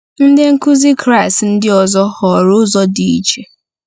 Ndị nkuzi Kraịst ndị ọzọ họọrọ ụzọ dị iche.